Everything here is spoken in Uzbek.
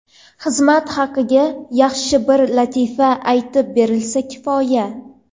Xizmat haqiga yaxshi bir latifa aytib berilsa kifoya”.